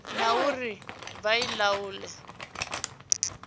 na uri vha i laule